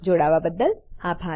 જોડાવાબદ્દલ આભાર